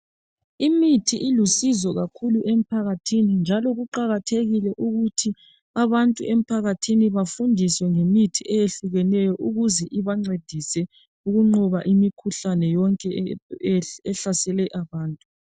Imithi ilusizo kakhulu emphakathini njalo kuqakathekile ukuthi abantu emphakathini bafundiswe ngemithi eyehlukeneyo ukuze ibangcedise ukunqoba imikhuhlane yonke ehlasele abantu